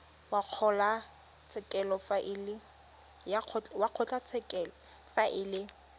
wa kgotlatshekelo fa e le